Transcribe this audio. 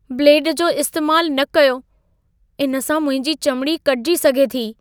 Blade जो इस्तैमालु न कयो। इन सां मुंहिंजी चमिड़ी कटिजी सघे थी।